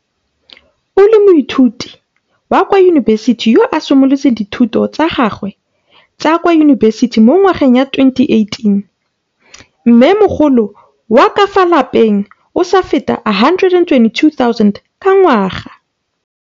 O le moithuti wa kwa yunibesiti yo a simolotseng dithuto tsa gagwe tsa kwa yunibesiti mo ngwageng wa 2018 mme mogolo wa ka fa lapeng o sa fete R122 000 ka ngwaga.